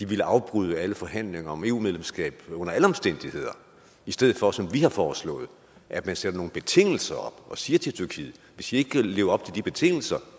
ville afbryde alle forhandlinger om eu medlemskab i stedet for som vi har foreslået at man sætter nogle betingelser op og siger til tyrkiet hvis i ikke kan leve op til de betingelser